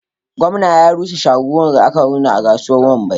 Gwamna ya rushe shagunan da aka gina a kasuwar wambai